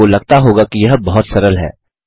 आपको लगता होगा कि यह बहुत सरल है